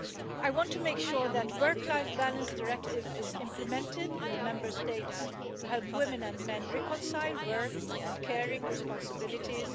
I want to make sure that the Work life Balance Directive is implemented in the Member States to help women and men reconcile work and caring responsibilities.